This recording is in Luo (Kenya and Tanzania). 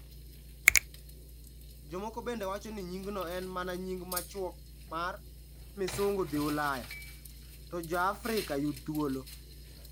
Jomoko bende wacho ni nyingno en mana nying machuok mar: Miisungu dhi Ulaya, to Ja-afrika Yud Thuolo.